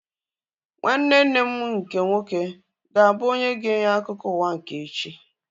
Nwanne nne m nke nwoke ga-abụ onye ga-enye akụkọ ụwa nke echi